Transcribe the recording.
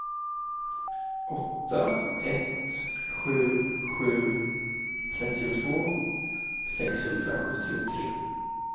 åtta ett sju sju trettiotvå sexhundrasjuttiotre